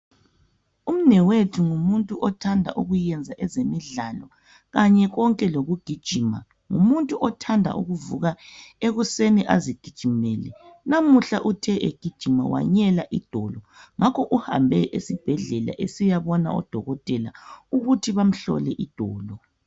Umnewethu ngumuntu othanda ukuyenza ezemidlalo kanye konke lokugijima ngumuntu othanda ukuvuka ekuseni azigijimele. Namuhla uthe egijima wanyela idolo ngakho uhambe esibhedlela esiyabona odokotela ukuthi bamhlole idolo.